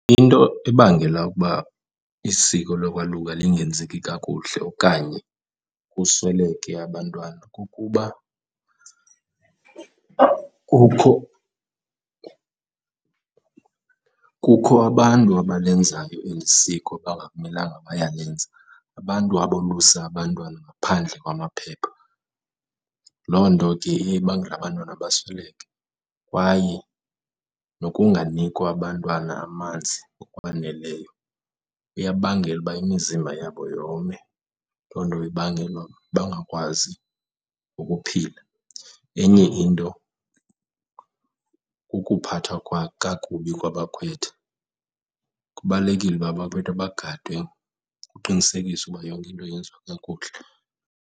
Into ebangela ukuba isiko lokwaluka lingenzeki kakuhle okanye kusweleke abantwana kukuba kukho, kukho abantu abalenzayo eli siko bangamelanga bayalenza, abantu abolusa abantwana ngaphandle kwamaphepha. Loo nto ke iye ibangele abantwana basweleke. Kwaye nokunganikwa abantwana amanzi ngokwaneleyo, iyabangela uba imizimba yabo yome, loo nto ibangele uba bangakwazi ukuphila. Enye into kukuphathwa kakubi kwabakhwetha, kubalulekile uba abakhwetha bagadwe kuqinisekiswe uba yonke into yenziwa kakuhle.